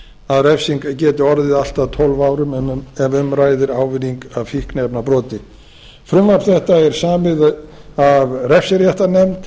að refsing geti orðið allt að tólf árum ef um ræðir ávinning af fikniefnabroti frumvarp þetta er samið af refsiréttarnefnd